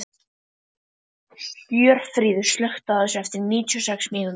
Hjörfríður, slökktu á þessu eftir níutíu og sex mínútur.